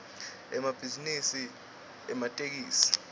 emabhizinisi ematekisi